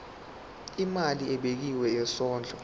imali ebekiwe yesondlo